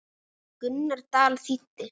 Gunnar Dal þýddi.